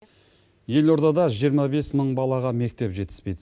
елордада жиырма бес мың балаға мектеп жетіспейді